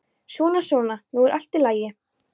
Svona, svona, nú er allt í lagi.